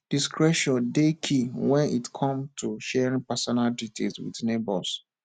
discretion dey key when it come to sharing personal details with neighbors